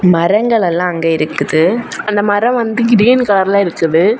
மரங்கள் எல்லா அங்க இருக்குது அந்த மரம் வந்து கிரீன் கலர்ல இருக்குது.